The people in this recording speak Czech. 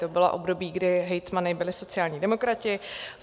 To bylo období, kdy hejtmany byli sociální demokraté.